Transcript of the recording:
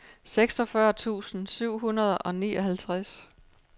seksogfyrre tusind syv hundrede og nioghalvtreds